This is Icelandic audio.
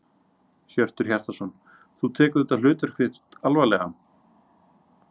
Hjörtur Hjartarson: Þú tekur þetta hlutverk þitt alvarlega?